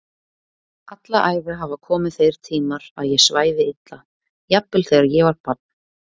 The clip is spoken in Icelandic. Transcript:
Alla æfi hafa komið þeir tímar að ég svæfi illa, jafnvel þegar ég var barn.